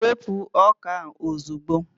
wepụ ọka a ozugbo!